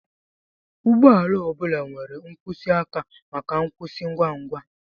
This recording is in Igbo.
Ụgbọ ala ọ bụla nwere nkwụsị aka maka nkwụsị ngwa ngwa